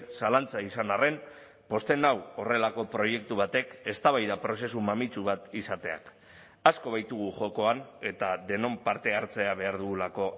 zalantza izan arren pozten nau horrelako proiektu batek eztabaida prozesu mamitsu bat izateak asko baitugu jokoan eta denon partehartzea behar dugulako